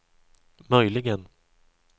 möjligen